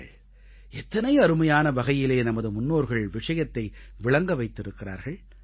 பாருங்கள் எத்தனை அருமையான வகையிலே நமது முன்னோர்கள் விஷயத்தை விளங்க வைத்திருக்கிறார்கள்